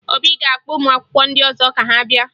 Obi ga-akpọ ụmụakwụkwọ ndị ọzọ ka ha bịa